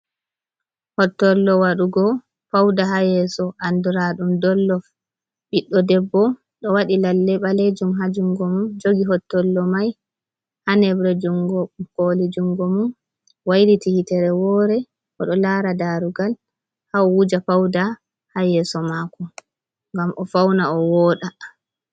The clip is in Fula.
Hottollo waɗugo pawda ha yeeso, andiraaɗum dollof, ɓiɗɗo debbo ɗo waɗi lalle ɓaleejum ha jungo mum, jogi hottollo mai ha nebre jungo kooli jungo mum, wayliti yitere woore, o ɗo laara daarogal, ha o wuja pawda ha yeeso maako ngam o fawna, o wooɗa.